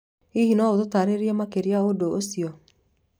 Hihi no ũtaarĩrie makĩria ũndũ ũcio?